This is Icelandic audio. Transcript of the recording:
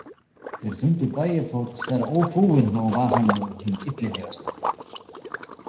Þeir fundu Bægifót þar ófúinn og var hann nú hinn illilegasti.